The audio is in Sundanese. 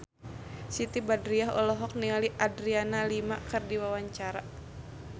Siti Badriah olohok ningali Adriana Lima keur diwawancara